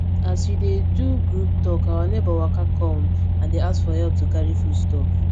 as we dey do group talk our neighbor waka kom and dey ask for help to carry food stuffs